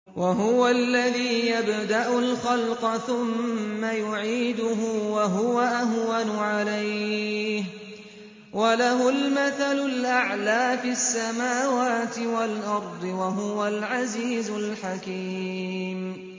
وَهُوَ الَّذِي يَبْدَأُ الْخَلْقَ ثُمَّ يُعِيدُهُ وَهُوَ أَهْوَنُ عَلَيْهِ ۚ وَلَهُ الْمَثَلُ الْأَعْلَىٰ فِي السَّمَاوَاتِ وَالْأَرْضِ ۚ وَهُوَ الْعَزِيزُ الْحَكِيمُ